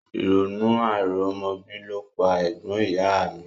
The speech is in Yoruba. Ìrònú àìrọ́mọbí ló pa ẹ̀gbọ́n ìyá a mi